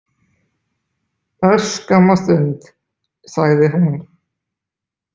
Örskamma stund, sagði hún.